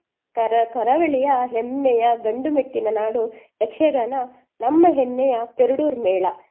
ಕರ~ ಕರಾವಳಿಯ ಹೆಮ್ಮೆಯ ಗಂಡುಮೆಟ್ಟಿನ ನಾಡು ಯಕ್ಷಗಾನ ನಮ್ಮ ಹೆಮ್ಮೆಯ ಪೆರ್ಡೂರು ಮೇಳ.